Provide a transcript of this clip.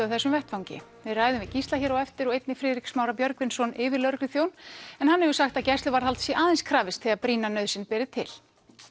á þessum vettvangi við ræðum við Gísla hér á eftir og einnig Friðrik Smára Björgvinsson yfirlögregluþjón en hann hefur sagt að gæsluvarðhalds sé aðeins krafist þegar brýna nauðsyn beri til